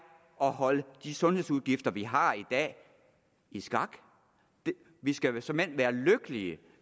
at holde de sundhedsudgifter vi har i dag i skak vi skal såmænd være lykkelige